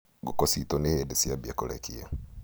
ngũkũ ciitũ nĩ hĩndĩ ciambia kũrekia